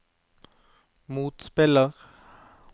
motspiller